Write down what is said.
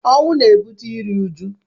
Ọnwụ na-ebute iru uju.